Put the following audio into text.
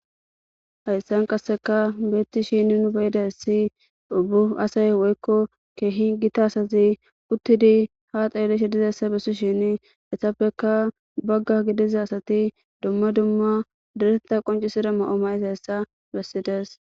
Hayssan qasseka beetti shini nu beydayssi bu asay woykko keehi gita asazi uttidi ha xeelishe dizayssa bessi shin essappeka bagga gidiza asati dumma dumma dereta qoncisida ma7o may7izayssa bessides.